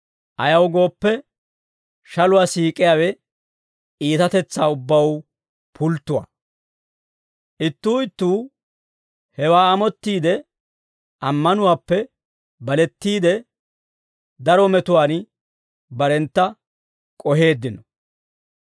Ayaw gooppe, shaluwaa siik'iyaawe iitatetsaa ubbaw pulttuwaa. Ittuu ittuu hewaa amottiide, ammanuwaappe balettiide, daro metuwaan barentta k'oheeddino.